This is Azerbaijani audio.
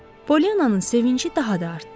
Polyannanın sevinci daha da artdı.